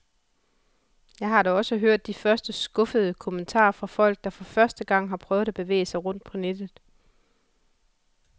Jeg har da også hørt de første skuffede kommentarer fra folk, der for første gang har prøvet at bevæge sig rundt på nettet.